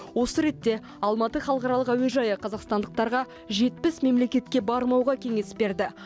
осы ретте алматы халықаралық әуежайы қазақстандықтарға жетпіс мемлекетке бармауға кеңес берді